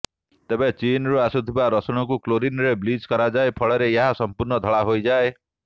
ତେବେ ଚୀନରୁ ଆସୁଥିବା ରସୁଣକୁ କ୍ଲୋରିନ୍ରେ ବ୍ଲିଚ୍ କରାଯାଏ ଫଳରେ ଏହା ସମ୍ପୂର୍ଣ୍ଣ ଧଳା ହୋଇଯାଏ